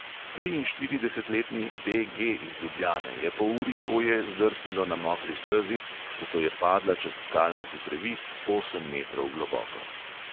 Triinštiridesetletni be| ge| iz ljubljane je po uri hoje zdrsnilo na mokri stezi, zato je padla čez skalnati previs osem metrov globoko.